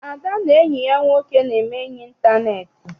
Ada na enyi ya nwoke na-eme enyi intaneeti.